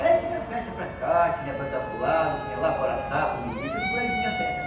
É, tinha festa para cá, tinha para cá para o lago, tinha lá para o Araçá, para o Miri, tudo por aí tinha festa, né?